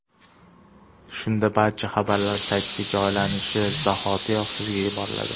Shunda barcha xabarlar saytga joylanishi zahotiyoq sizga yuboriladi.